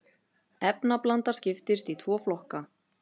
efnablanda skiptist í tvo flokka